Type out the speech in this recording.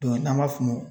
n'an b'a f'o ma